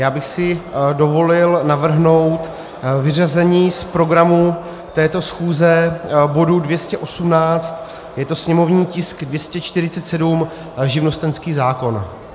Já bych si dovolil navrhnout vyřazení z programu této schůze bodu 218, je to sněmovní tisk 247 - živnostenský zákon.